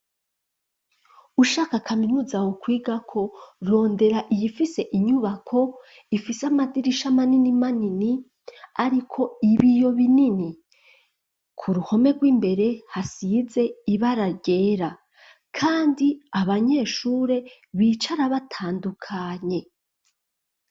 Ushaka kaminuza wokwigako rondera iyifise inyubako ifise amadirisha manini manini ariko ibiyo binini ku ruhome gw'imbere hasize ibara ryera kandi abanyeshure bicara batandukanye.